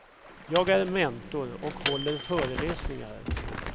Jag är mentor och håller föreläsningar.